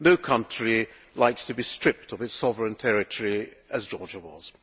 No country likes to be stripped of its sovereign territory, as Georgia was.